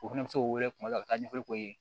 O fɛnɛ bɛ se k'o wele kuma dɔw la ka taa ɲɛfɔli k'o ye